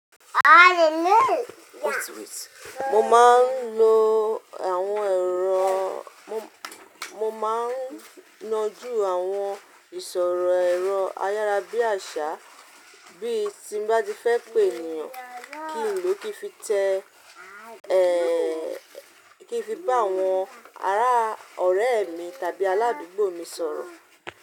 Mo máa ń lo àwọn èrò, mo máa ń nọjú àwọn ìsọ̀rọ̀ ẹ̀rọ ayára bí àṣá bí tí bá ti fẹ́ pé ènìyàn kí n lò kí fi tẹ ẹ́ kí fi bá àwọn ará ọ̀rẹ́ mi tàbí aládùúgbò mi sọ̀rọ̀